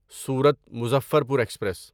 صورت مظفرپور ایکسپریس